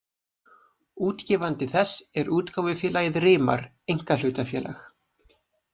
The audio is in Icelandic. Útgefandi þess er útgáfufélagið Rimar einkahlutafélag